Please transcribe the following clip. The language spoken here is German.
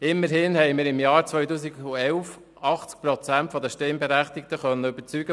Immerhin konnten wir im Jahr 2011 80 Prozent der Abstimmenden vom KEnG überzeugen;